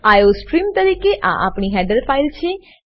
iostream તરીકે આ આપણી હેડર ફાઈલ છે